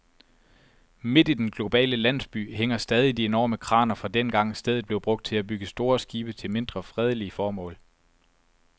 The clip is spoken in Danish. Midt i den globale landsby hænger stadig de enorme kraner fra dengang, stedet blev brugt til at bygge store skibe til mindre fredelige formål.